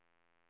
tomma